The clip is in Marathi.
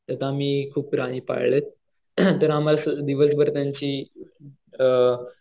त्यात आम्ही खूप प्राणी पाळलेत दिवसभर त्यांची अ